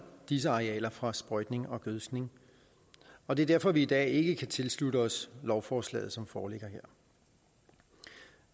disse arealer fra sprøjtning og gødskning og det er derfor vi i dag ikke kan tilslutte os lovforslaget som foreligger